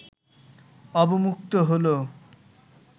অবমুক্ত হলো